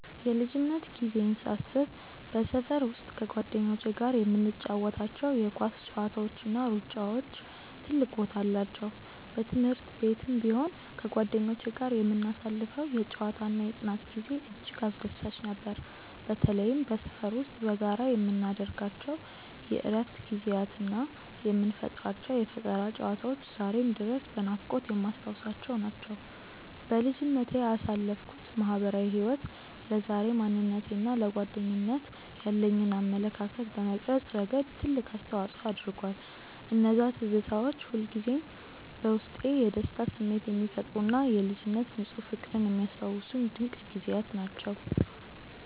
የልጅነት ጊዜዬን ሳስብ በሰፈር ውስጥ ከጓደኞቼ ጋር የምንጫወታቸው የኳስ ጨዋታዎችና ሩጫዎች ትልቅ ቦታ አላቸው። በትምህርት ቤትም ቢሆን ከጓደኞቼ ጋር የምናሳልፈው የጨዋታና የጥናት ጊዜ እጅግ አስደሳች ነበር። በተለይም በሰፈር ውስጥ በጋራ የምናደርጋቸው የእረፍት ጊዜያትና የምንፈጥራቸው የፈጠራ ጨዋታዎች ዛሬም ድረስ በናፍቆት የማስታውሳቸው ናቸው። በልጅነቴ ያሳለፍኩት ማህበራዊ ህይወት ለዛሬው ማንነቴና ለጓደኝነት ያለኝን አመለካከት በመቅረጽ ረገድ ትልቅ አስተዋጽኦ አድርጓል። እነዚያ ትዝታዎች ሁልጊዜም በውስጤ የደስታ ስሜት የሚፈጥሩና የልጅነት ንፁህ ፍቅርን የሚያስታውሱኝ ድንቅ ጊዜያት ናቸው።